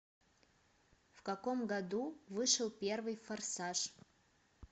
в каком году вышел первый форсаж